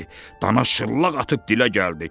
Dana şırlaq atıb dilə gəldi.